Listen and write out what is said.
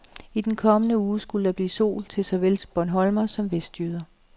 I den kommende uge skulle der blive sol til såvel bornholmere som vestjyder, .